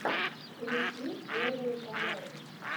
включи первые каналы